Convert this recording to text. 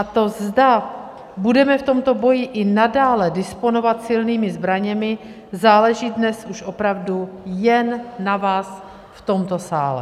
A to, zda budeme v tomto boji i nadále disponovat silnými zbraněmi, záleží dnes už opravdu jen na vás v tomto sále.